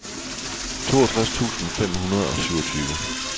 toogtres tusind fem hundrede og syvogtyve